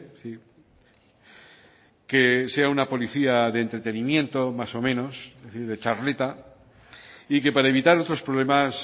sí que sea una policía de entretenimiento más o menos es decir de charleta y que para evitar otros problemas